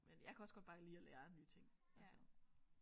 Men jeg kan også godt bare lide at lære nye ting altså